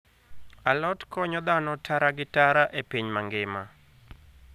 Alot konyo dhano tara gi tara e piny mangima.